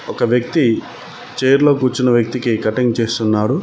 ఒక వ్యక్తి చైర్ లో కూర్చున్న వ్యక్తికి కట్టింగ్ చేస్తున్నాడు.